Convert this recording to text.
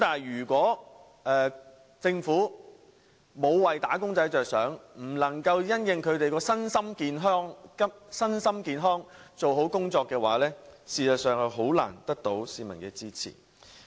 如果政府沒有為"打工仔"着想，不能因應他們的身心健康做好工夫的話，便實在難以得到市民支持。